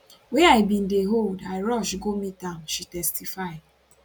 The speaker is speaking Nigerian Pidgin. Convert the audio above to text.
wey i bin dey hold i rush go meet am she testify